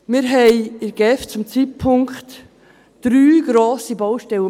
Wir haben in der GEF zurzeit drei grosse Baustellen.